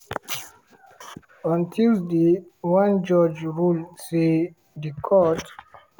on tuesday one judge rule say di court